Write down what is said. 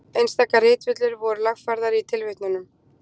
Einstaka ritvillur voru lagfærðar í tilvitnunum.